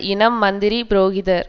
இனம் மந்திரி புரோகிதர்